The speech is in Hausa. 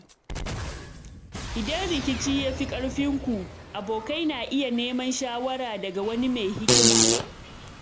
Idan rikici ya fi ƙarfinku, abokai na iya neman shawara daga wani mai hikima.